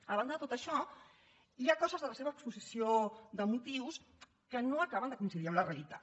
a banda de tot això hi ha coses de la seva exposició de motius que no acaben de coincidir amb la realitat